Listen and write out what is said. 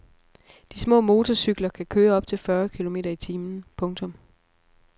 De små motorcykler kan køre op til fyrre kilometer i timen. punktum